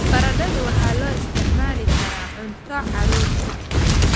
Baradhadu waxaa loo isticmaali karaa cunto carruurta.